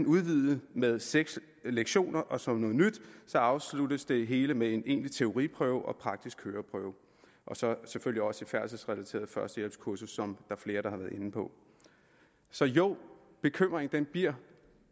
udvidet med seks lektioner og som noget nyt afsluttes det hele med en egentlig teoriprøve og praktisk køreprøve og så selvfølgelig også et færdselsrelateret førstehjælpskursus som der er flere der har været inde på så jo bekymringen bliver